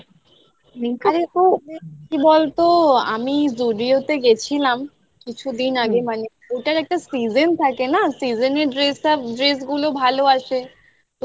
হ্যাঁ হ্যাঁ, হ্যাঁ, হ্যাঁ, হ্যাঁ কি বলতো? আমি Zudio তে গেছিলাম কিছুদিন আগে দিন আগে মানে ওটার একটা season থাকে না season র dress টা dress গুলো ভালো আসে